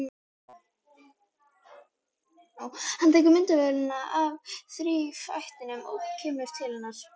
Hann tekur myndavélina af þrífætinum og kemur til hennar.